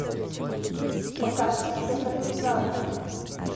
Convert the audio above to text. покажи экранизацию